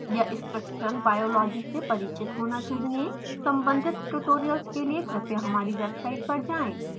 या structural biology से परिचित होना चाहियें सम्बंधित ट्यूटोरियल्स के लिए कृपया हमारी वेब साईट पर जाएँ